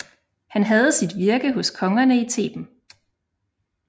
Han havde sit virke hos kongerne i Theben